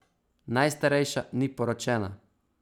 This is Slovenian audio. Najstarejša ni poročena.